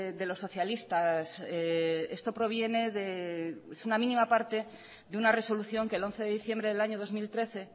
de los socialistas esto proviene de es una mínima parte de una resolución que el once de diciembre del año dos mil trece